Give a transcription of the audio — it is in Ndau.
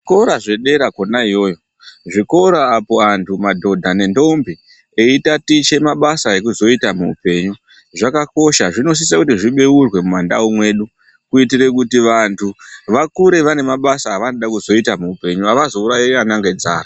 Zvikora zvedera kona iyoyo zvikora apo anhu madhodha nendombi etatiche mabasa ekuzoita muupenyu zvakakosha zvinosise kuti zvibeurwe mumandau mwedu kuitire kuti vantu vakure vane mabasa avanode kuzoita muupenyu avazourayi ana ngenzara.